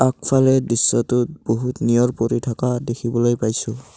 আগফালে দৃশ্যটোত বহুত নিয়ৰ পৰি থকা দেখিবলৈ পাইছোঁ।